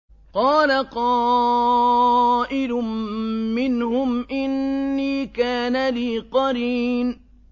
قَالَ قَائِلٌ مِّنْهُمْ إِنِّي كَانَ لِي قَرِينٌ